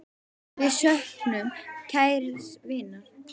Við söknum kærs vinar.